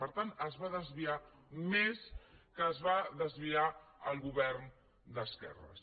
per tant es va desviar més del que es va desviar el govern d’esquerres